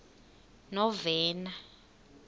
novena